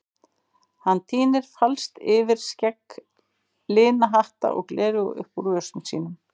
Hann tínir falskt yfirskegg, lina hatta og gleraugu upp úr vösum sínum.